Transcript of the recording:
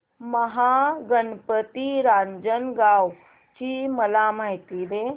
महागणपती रांजणगाव ची मला माहिती दे